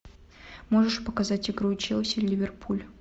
можешь показать игру челси ливерпуль